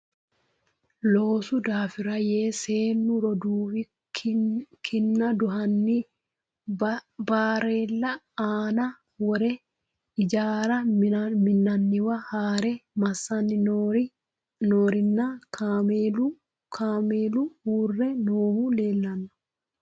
Loosu daafirra yee seennu roduuwi kinna duhanni bareella aanna worrenna ijjaara minanniwa haare massanni noori nna kaameelu uure noohu leellanno